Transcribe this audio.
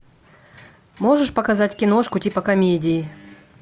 можешь показать киношку типа комедии